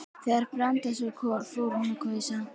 Þegar Branda sá Kol fór hún að hvæsa.